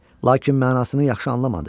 Lakin mənasını yaxşı anlamadı.